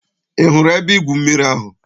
Ị hụrụ ebe-igwụ mmiri ahụ?